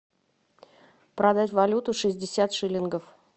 продать валюту шестьдесят шиллингов